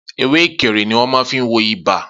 Ewé ekere ni wọn máa fí n wo ibà